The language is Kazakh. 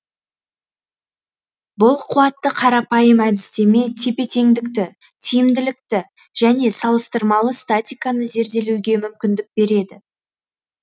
бұл қуатты қарапайым әдістеме тепе теңдікті тиімділікті және салыстырмалы статиканы зерделеуге мүмкіндік береді